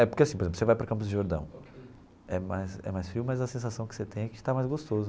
É porque assim, por exemplo, você vai para o Campos de Jordão, é mais é mais frio, mas a sensação que você tem é que está mais gostoso.